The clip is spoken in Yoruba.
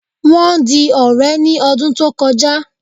Wọ́n di ọ̀rẹ́ ní ọdún tó kọjá